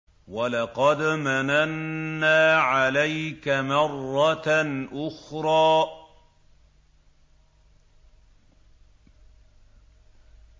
وَلَقَدْ مَنَنَّا عَلَيْكَ مَرَّةً أُخْرَىٰ